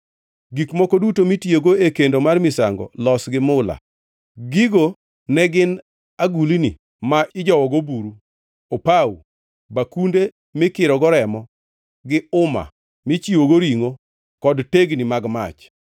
Gik moko duto mitiyogo e kendo mar misango los gi mula. Gigo ne gin agulni ma ijowogo buru, opawo, bakunde mikirogo remo, gi uma michiwogo ringʼo kod tegni mag mach.